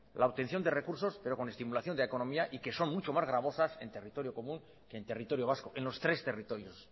la obtención de recursos pero con estimulación de la economía y que son mucho más gravosas en territorio común que en territorio vasco en los tres territorios